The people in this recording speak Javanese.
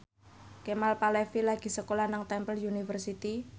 Kemal Palevi lagi sekolah nang Temple University